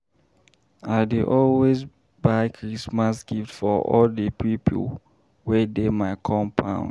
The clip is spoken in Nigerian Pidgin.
I dey always buy Christmas gift for all di pipo wey dey my compound.